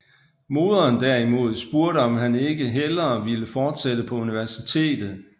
Moderen derimod spurgte om han ikke hellere ville fortsætte på universitetet